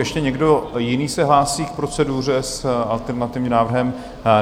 Ještě někdo jiný se hlásí k proceduře s alternativním návrhem?